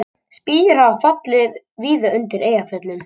Spýjur hafa fallið víða undir Eyjafjöllum